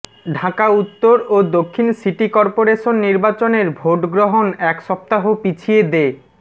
ঢাকা উত্তর ও দক্ষিণ সিটি করপোরেশন নির্বাচনের ভোটগ্রহণ এক সপ্তাহ পিছিয়ে দে